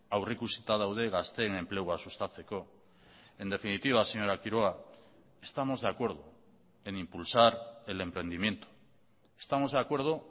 aurrikusita daude gazteen enplegua sustatzeko en definitiva señora quiroga estamos de acuerdo en impulsar el emprendimiento estamos de acuerdo